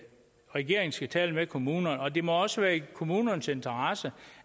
regeringen skal tale med kommunerne og det må også være i kommunernes interesse